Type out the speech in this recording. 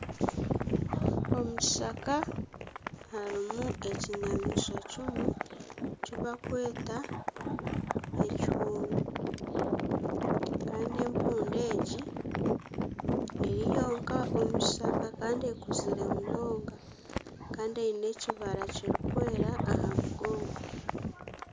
Omukishaka harimu ekinyamaishwa kimwe eki barikweta ekihundu kandi empundu egi eri nyonka omu kishaka kandi ekuzire munonga kandi eine ekibara kirikwera aha mugongo